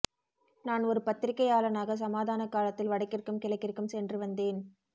நான் ஒரு பத்திரிகையாளனாக சமாதானக் காலத்தில் வடக்கிற்கும் கிழக்கிற்கும் சென்று வந்தேன்